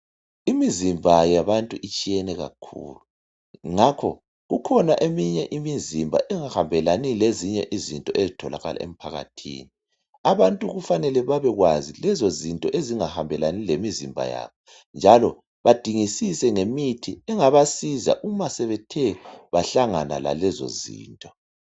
imizimba yabantu itshiyene kakhulu ngakho kukhona eminye imizimba engahambelani lezinye izinto ezitholakala emphakathini abantu kufanele bebekwazi lezo zinto ezingahambelani lemizimba yabo njalo badingisise ngemithi engabasiza uma sebethe bahlangana lalezo zinto